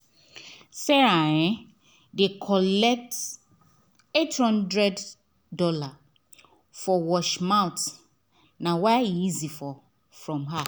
sarah um dey collect $800 for wash mouth nah why e easy fro her